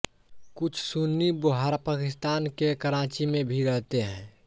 कुछ सुन्नी बोहरा पाकिस्तान के कराची में भी रहते हैं